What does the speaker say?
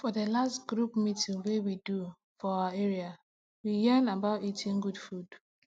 for the last group meeting wey we do for our area we yarn about eating good food